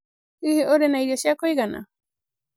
Hĩhĩ urĩ Na irio cĩa kuĩgana?